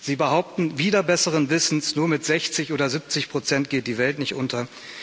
Sie behaupten wider besseren Wissens, nur mit 60 oder 70 geht die Welt nicht unter.